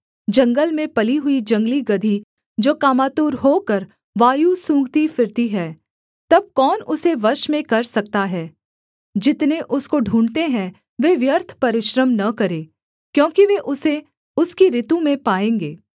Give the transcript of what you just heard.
जंगल में पली हुई जंगली गदही जो कामातुर होकर वायु सूँघती फिरती है तब कौन उसे वश में कर सकता है जितने उसको ढूँढ़ते हैं वे व्यर्थ परिश्रम न करें क्योंकि वे उसे उसकी ॠतु में पाएँगे